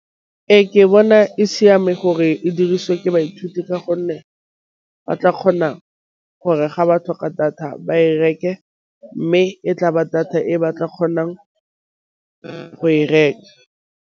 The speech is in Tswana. Ee, ke bone e siame gore e dirisiwe ke baithuti ka gonne ba tla kgona gore ga ba tlhoka data ba e reke, mme e tla ba data e ba tla kgonang go e reka.